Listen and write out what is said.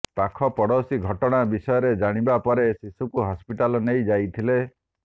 ପାଖପଡୋଶୀ ଘଟଣା ବିଷୟରେ ଜାଣିବା ପରେ ଶିଶୁକୁ ହସ୍ପିଟାଲ ନେଇ ଯାଇଥିଲେ